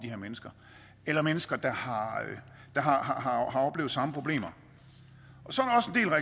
her mennesker eller mennesker der har oplevet samme problemer